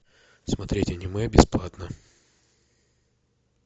смотреть аниме бесплатно